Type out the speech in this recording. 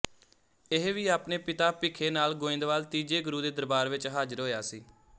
ਇਹ ਵੀ ਆਪਣੇ ਪਿਤਾ ਭਿਖੇ ਨਾਲ ਗੋਇੰਦਵਾਲ ਤੀਜੇ ਗੁਰੂ ਦੇ ਦਰਬਾਰ ਵਿੱਚ ਹਾਜਰ ਹੋਇਆ ਸੀ